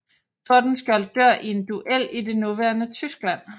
Tordenskiold dør i en duel i det nuværende Tyskland